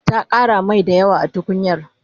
ta Ƙara Mai dayawa a tukunyar